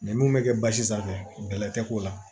Ni mun bɛ kɛ basi sanfɛ bɛlɛ tɛ k'o la